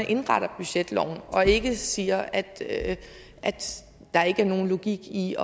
indrette budgetloven og ikke siger at der ikke er nogen logik i